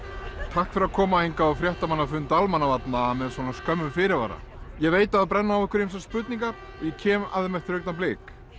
takk fyrir að koma hingað á fréttamannafund Almannavarna með svona skömmum fyrirvara ég veit að það brenna á ykkur ýmsar spurningar ég kem að þeim eftir augnablik